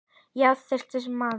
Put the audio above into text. Já, það er þyrstur maður.